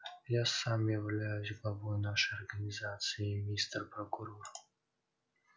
я сам являюсь главой нашей организации мистер прокурор